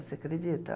Você acredita?